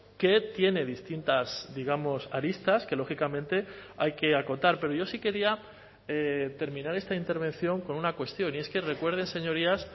que tiene distintas digamos aristas que lógicamente hay que acotar pero yo sí quería terminar esta intervención con una cuestión y es que recuerden señorías